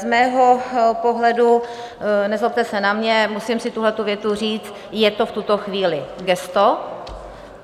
Z mého pohledu, nezlobte se na mě, musím si tuhletu větu říct, je to v tuto chvíli gesto.